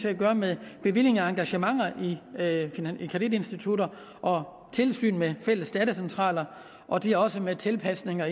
at gøre med bevillinger af engagementer i kreditinstitutter og tilsyn med fælles datacentraler og de har også med tilpasninger